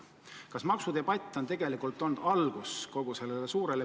Kas maksudebatt on tegelikult suure pildi muutmise algus?